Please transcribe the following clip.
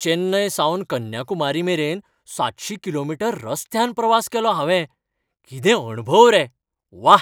चेन्नय सावन कन्याकुमारी मेरेन सातशी किलोमीटर रस्त्यान प्रवास केलो हांवें. कितें अणभव रे, व्वा.